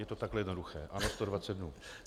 Je to takhle jednoduché, ano 120 dnů.